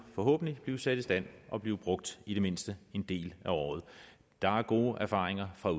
forhåbentlig blive sat i stand og blive brugt i det mindste en del af året der er gode erfaringer fra